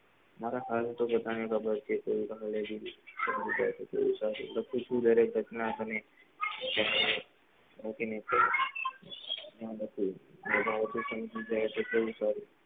મારા હાલ તો બધા ને ખબર છે કે એતો તું લડે ઘટના તને બધા ભૂલી નહિ શકું કેવું સારું,